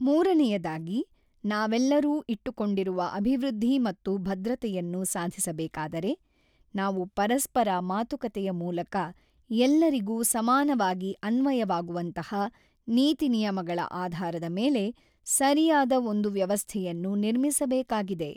ಮೂರನೆಯದಾಗಿ, ನಾವೆಲ್ಲರೂ ಇಟ್ಟುಕೊಂಡಿರುವ ಅಭಿವೃದ್ಧಿ ಮತ್ತು ಭದ್ರತೆಯನ್ನು ಸಾಧಿಸಬೇಕಾದರೆ, ನಾವು ಪರಸ್ಪರ ಮಾತುಕತೆಯ ಮೂಲಕ ಎಲ್ಲರಿಗೂ ಸಮಾನವಾಗಿ ಅನ್ವಯವಾಗುವಂತಹ ನೀತಿನಿಯಮಗಳ ಆಧಾರದ ಮೇಲೆ ಸರಿಯಾದ ಒಂದು ವ್ಯವಸ್ಥೆಯನ್ನು ನಿರ್ಮಿಸಬೇಕಾಗಿದೆ.